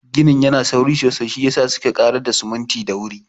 Ginin yana sauri sosai, shiyasa suke ƙarar da siminti da wuri.